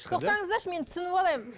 тоқтаңыздаршы мен түсініп алайын